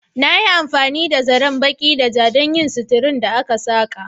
Na yi amfani da zaren baƙi da ja don yin suturar da aka saƙa.